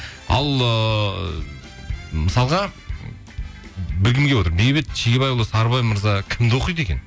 ал ыыы мысалға білгім келіп отыр бейбіт шегебайұлы сарыбай мырза кімді оқиды екен